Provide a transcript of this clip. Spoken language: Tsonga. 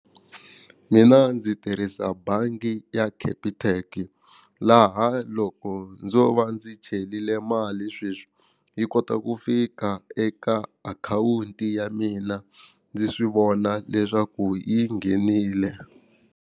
Mina ndzi tirhisa bangi ya Capitec laha loko ndzo va ndzi chelile mali sweswi yi kota ku fika eka akhawunti ya mina ndzi swi vona leswaku yi nghenile.